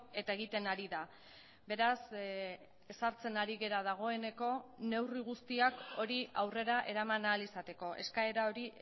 eta egiten ari da beraz ezartzen ari gara dagoeneko neurri guztiak hori aurrera eraman ahal izateko eskaera hori